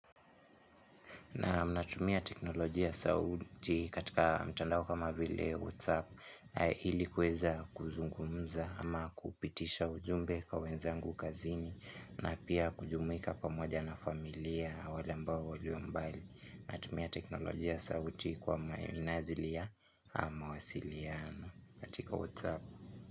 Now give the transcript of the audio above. Naam, natumia teknolojia sauti katika mtandao kama vile WhatsApp ilikuweza kuzungumza ama kupitisha ujumbe kwa wenzangu kazini na pia kujumuika pamoja na familia wale ambao walio mbali. Natumia teknolojia sauti kwa minazilia ama wasiliano katika WhatsApp.